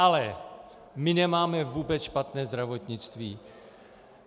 Ale my nemáme vůbec špatné zdravotnictví.